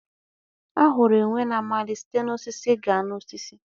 A hụrụ enwe na-amali site na osisi gaa n'osisi.